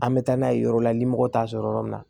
An bɛ taa n'a ye yɔrɔ la ni mɔgɔ t'a sɔrɔ yɔrɔ min na